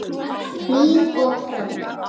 Hlín og Hrönn.